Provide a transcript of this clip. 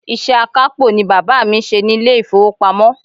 Iṣẹ́ akápò ni bàbá mi ń ṣe ní ilé ìfowópamọ́.